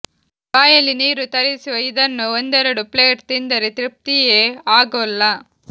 ಬಾಯಲ್ಲಿ ನೀರು ತರಿಸುವ ಇದನ್ನು ಒಂದೆರಡು ಪ್ಲೇಟ್ ತಿಂದರೆ ತೃಪ್ತಿಯೇ ಆಗೋಲ್ಲ